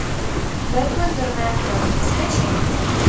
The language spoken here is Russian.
бэтмен дурная кровь скачай